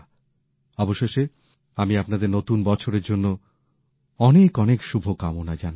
অবশেষে আমি আপনাদের নতুন বছরের জন্য অনেক অনেক শুভকামনা জানাচ্ছি